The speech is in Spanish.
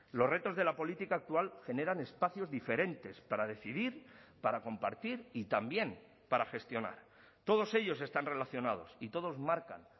los retos de la política actual generan espacios diferentes para decidir para compartir y también para gestionar todos ellos están relacionados y todos marcan